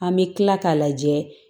An bɛ kila k'a lajɛ